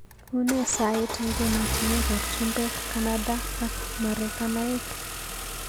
Une sait eng emotinwekab chumbek Canada ak marekainik